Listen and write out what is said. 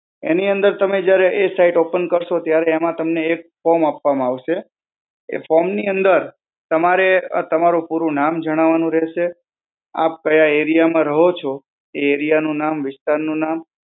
એની અંદર તમે જયારે એ site open કરશો ત્યારે એમાં તમને એક form આપવામાં આવશે. એ form ની અંદર તમારે તમારું પૂરું નામ જણાવાનું રહેશે, આપ ક્યાં area માં રહો છો એ area નું નામ, વિસ્તારનું નામ.